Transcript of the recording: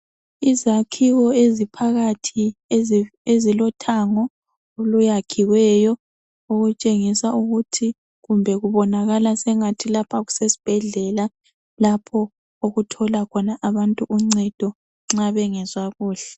Izakhiwo eziphakathi ezilothango oluyakhiweyo okutshengisa ukuthi kumbe kubonakala sengathi lapha kusesibhedlela lapho okuthola khona abantu uncedo nxa bengezwa kuhle.